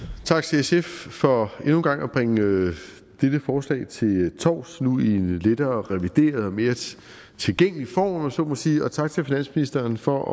tak til sf for endnu en gang at bringe dette forslag til torvs nu i en lettere revideret og mere tilgængelig form om man så må sige og tak til finansministeren for